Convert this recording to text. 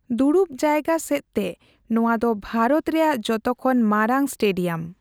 ᱫᱩᱲᱩᱵ ᱡᱟᱭᱜᱟ ᱥᱮᱫᱛᱮ ᱱᱚᱣᱟᱫᱚ ᱵᱷᱟᱨᱚᱛ ᱨᱮᱭᱟᱜ ᱡᱚᱛᱚ ᱠᱷᱚᱱ ᱢᱟᱨᱟᱝ ᱥᱴᱮᱹᱰᱤᱭᱟᱢ ᱾